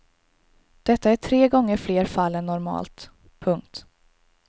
Detta är tre gånger fler fall än normalt. punkt